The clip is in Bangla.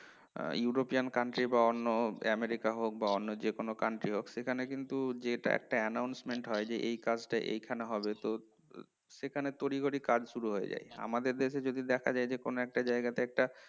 european country বা অন্য আমেরিকা হোক বা অন্য যে কোন country হোক সেখানে কিন্তু একটা announcement হয় যে এই কাজটা এখানে হবে তো সেখানে তড়িঘড়ি কাজ শুরু হয়ে যায় আমাদের দেশে যদি দেখা যায় কোন একটা জায়গায় টা